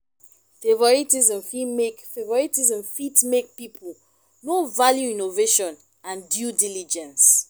favouritism fit make favouritism fit make pipo no value innovation and due diligence